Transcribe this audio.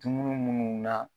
Dumunu minnu na